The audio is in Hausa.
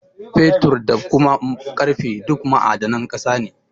Fetur, da kuma ƙarfe duk ma'adanan ƙasa ne.